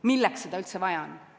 Milleks seda üldse vaja on?